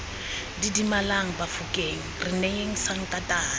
didimalang bafokeng re neyeng sankatane